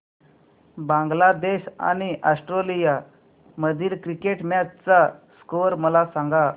बांगलादेश आणि ऑस्ट्रेलिया मधील cricket match चा स्कोअर मला सांगा